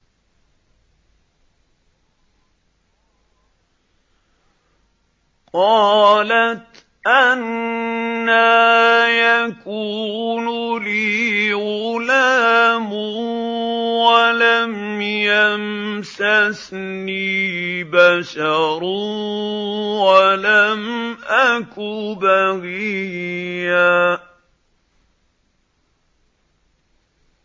قَالَتْ أَنَّىٰ يَكُونُ لِي غُلَامٌ وَلَمْ يَمْسَسْنِي بَشَرٌ وَلَمْ أَكُ بَغِيًّا